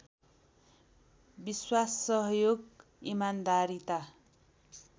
विश्वास सहयोग इमान्दारीता